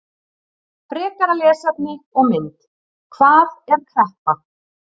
Frekara lesefni og mynd: Hvað er kreppa?